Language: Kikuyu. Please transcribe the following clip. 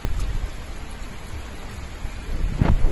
Okoth arauga atĩa?